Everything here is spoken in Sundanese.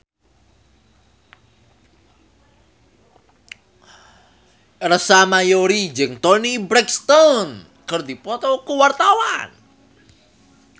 Ersa Mayori jeung Toni Brexton keur dipoto ku wartawan